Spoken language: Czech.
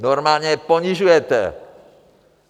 Normálně je ponižujete.